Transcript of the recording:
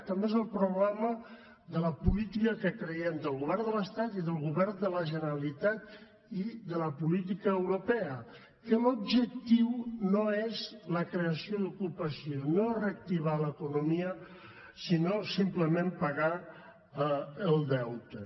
també és el problema de la política creiem del govern de l’estat i del govern de la generalitat i de la política europea que l’objectiu no és la creació d’ocupació no és reactivar l’economia sinó simplement pagar el deute